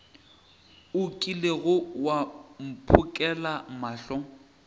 o kilego wa mphokela mohla